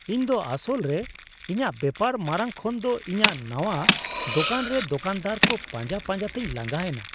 ᱤᱧᱫᱚ ᱟᱥᱚᱞᱨᱮ ᱤᱧᱟᱹᱜ ᱵᱮᱯᱟᱨ ᱢᱟᱨᱟᱝ ᱠᱷᱚᱱᱫᱚ ᱤᱧᱟᱹᱜ ᱱᱟᱶᱟ ᱫᱳᱠᱟᱱᱨᱮ ᱫᱳᱠᱟᱱᱫᱟᱨ ᱠᱚ ᱯᱟᱸᱡᱟ ᱯᱟᱸᱡᱟᱛᱮᱧ ᱞᱟᱸᱜᱟ ᱮᱱᱟ ᱾